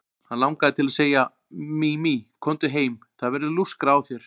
Hann langaði til að segja: Mimi, komdu heim, það verður lúskrað á þér.